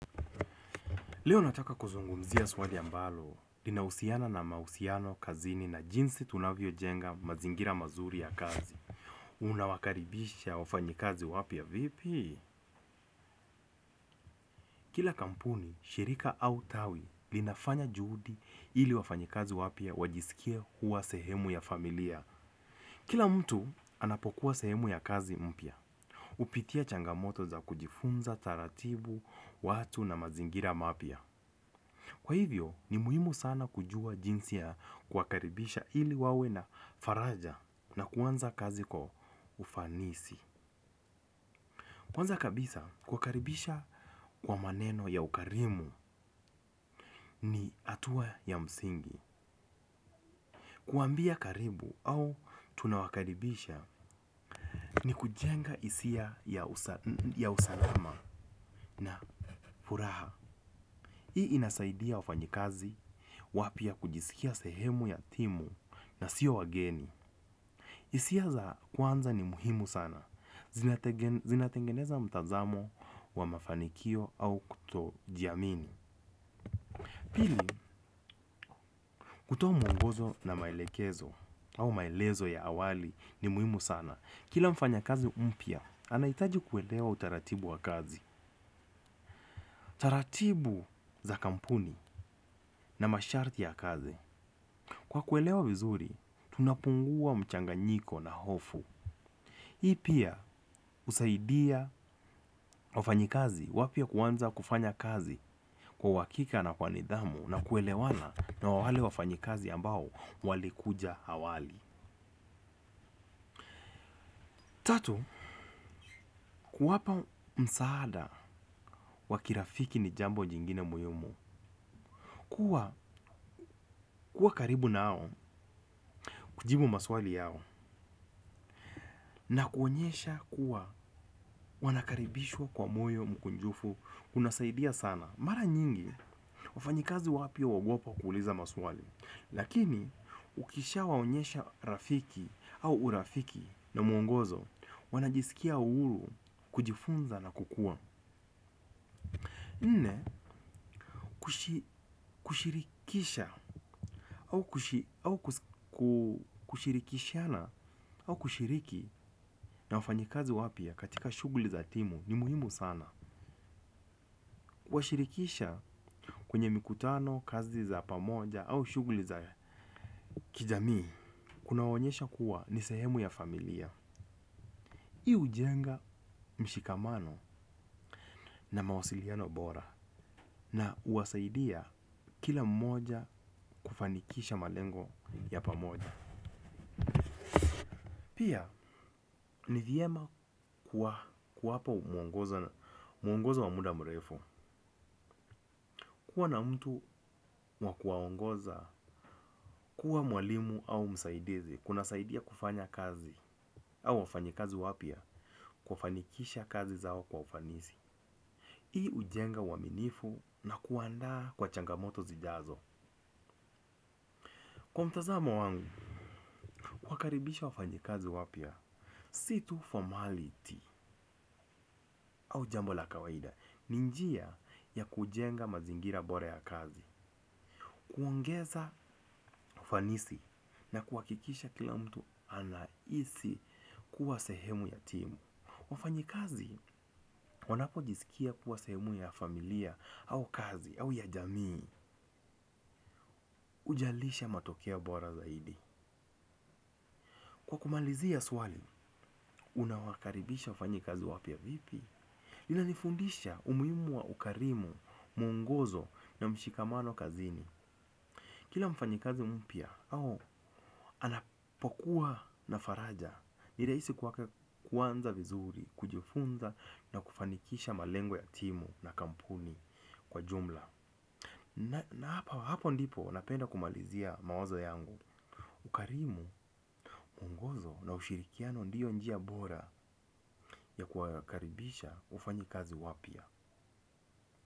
Leo nataka kuzungumzia swali ambalo linahusiana na mahusiano kazini na jinsi tunavyojenga mazingira mazuri ya kazi. Unawakaribisha wafanyikazi wapya vipi? Kila kampuni, shirika au tawi linafanya juhudi ili wafanyikazi wapya wajisikie kuwa sehemu ya familia. Kila mtu anapokuwa sehemu ya kazi mpya. Hupitia changamoto za kujifunza taratibu, watu na mazingira mapya. Kwa hivyo, ni muhimu sana kujua jinsi ya kuwakaribisha ili wawe na faraja na kuanza kazi kwa ufanisi. Kwanza kabisa kuwakaribisha kwa maneno ya ukarimu ni hatua ya msingi. Kuwaambia karibu au tunawakaribisha ni kujenga hisia ya usalama na furaha. Hii inasaidia wafanyikazi wapya kujisikia sehemu ya timu na siyo wageni. Hisia za kwanza ni muhimu sana. Zinatengeneza mtazamo wa mafanikio au kutojiamini. Pili, kutoa mwongozo na maelekezo au maelezo ya awali ni muhimu sana. Kila mfanyakazi mpya anahitaji kuelewa utaratibu wa kazi. Taratibu za kampuni na masharti ya kazi. Kwa kuelewa vizuri tunapungua mchanganyiko na hofu. Hii pia husaidia wafanyikazi wapya kuanza kufanya kazi kwa uhakika na kwa nidhamu na kuelewana na wale wafanyikazi ambao walikuja awali. Tatu, kuwapa msaada wa kirafiki ni jambo jingine muhimu. Kuwa karibu nao kujibu maswali yao na kuonyesha kuwa wanakaribishwa kwa moyo mkunjufu kunasaidia sana mara nyingi wafanyikazi wapya huogopa kuuliza maswali lakini ukishawaonyesha rafiki au urafiki na mwongozo wanajisikia uhuru kujifunza na kukua nne kushirikisha au kushirikishana au kushiriki na wafanyikazi wapya katika shughuli za timu ni muhimu sana. Kuwashirikisha kwenye mikutano, kazi za pamoja au shughuli za kijamii. Kunawaonyesha kuwa ni sehemu ya familia. Hii hujenga mshikamano na mawasiliano bora na huwasaidia kila mmoja kufanikisha malengo ya pamoja. Pia, ni vyema kuwapa mwongozo wa muda mrefu. Kuwa na mtu wa kuwaongoza, kuwa mwalimu au msaidizi kunasaidia kufanya kazi au wafanyikazi wapya kufanikisha kazi zao kwa ufanisi. Hii hujenga uaminifu na kuandaa kwa changamoto zijazo. Kwa mtazamo wangu, kuwakaribisha wafanyikazi wapya. Si tu formality au jambo la kawaida ni njia ya kujenga mazingira bora ya kazi. Kuongeza ufanisi na kuhakikisha kila mtu anahisi kuwa sehemu ya timu. Wafanyikazi wanapojisikia kuwa sehemu ya familia au kazi au ya jamii hujalisha matokeo bora zaidi. Kwa kumalizia swali, unawakaribisha wafanyikazi wapya vipi? Linanifundisha umuhimu wa ukarimu, mwongozo na mshikamano kazini kila mfanyikazi mpya, anapokuwa na faraja ni rahisi kwake kuanza vizuri, kujifunza na kufanikisha malengo ya timu na kampuni kwa jumla. Na hapo ndipo napenda kumalizia mawazo yangu ukarimu, mwongozo na ushirikiano ndiyo njia bora ya kuwakaribisha wafanyikazi wapya.